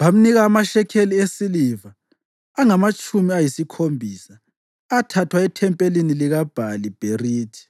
Bamnika amashekeli esiliva angamatshumi ayisikhombisa, athathwa ethempelini likaBhali-Bherithi,